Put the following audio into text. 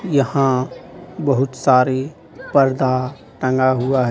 यहां बहुत सारी पर्दा टांगा हुआ है.